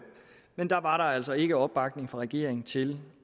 men da var der altså ikke opbakning fra regeringen til